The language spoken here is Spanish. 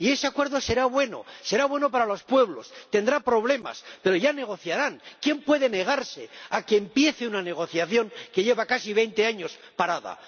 Y ese acuerdo será bueno, será bueno para los pueblos, tendrá problemas pero ya negociarán. ¿Quién puede negarse a que empiece una negociación que lleva casi veinte años parada?